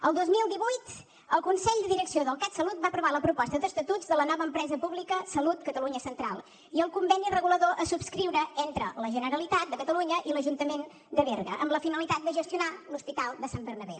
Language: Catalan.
el dos mil divuit el consell de direcció del catsalut va aprovar la proposta d’estatuts de la nova empresa pública salut catalunya central i el conveni regulador a subscriure entre la generalitat de catalunya i l’ajuntament de berga amb la finalitat de gestionar l’hospital de sant bernabé